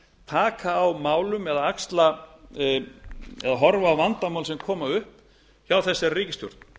taka á málum eða horfa á vandamál sem koma upp hjá þessari ríkisstjórn